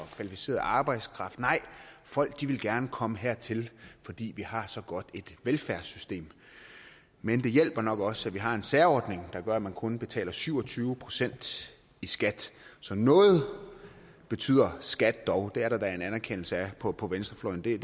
kvalificeret arbejdskraft nej folk vil gerne komme hertil fordi vi har så godt et velfærdssystem men det hjælper nok også at vi har en særordning der gør at man kun betaler syv og tyve procent i skat så noget betyder skat dog det er der da en anerkendelse af på på venstrefløjen det er